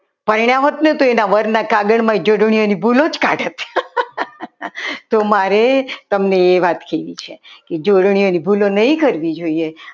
પરણ્યા હોત ને તો એના વરના કાબરમય જોડણીઓની ભૂલો જ કાઢત તો મારે તમને એ વાત કહેવી છે કે જોડણીઓની ભૂલો નહીં કરવી જોઈએ